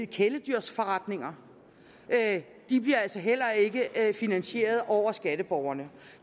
kæledyrsforretninger bliver altså heller ikke finansieret af skatteborgerne